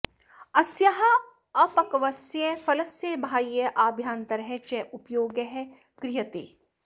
अस्याः अपक्वस्य फलस्य बाह्यः आभ्यन्तरः च उपयोगः क्रियते